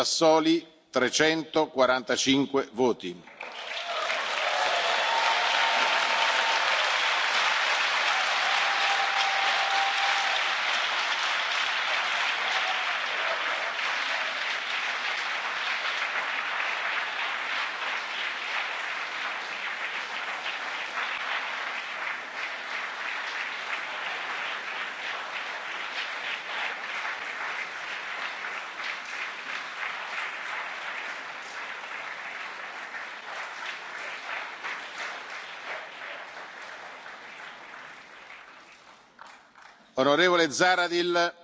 Sassoli 345 voti Onorevole Zahradil